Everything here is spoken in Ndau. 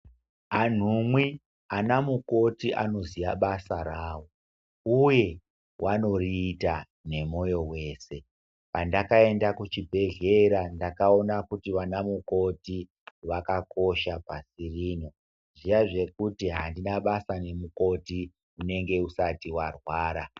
Anhumwe akamukoti anoziya basa ravo, uye vanoriita nemoyo wese. Pandakaenda kuchibhedhlera ndakaona kuti vanamukoti vakakosha pasi rino. Zviya zvekuti handina basa nemukoti, unenge usati warwara.